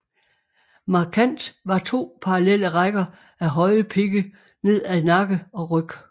Markant var to parallelle rækker af høje pigge ned ad nakke og ryg